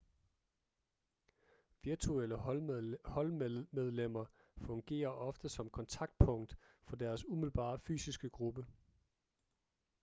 virtuelle holdmedlemmer fungerer ofte som kontaktpunkt for deres umiddelbare fysiske gruppe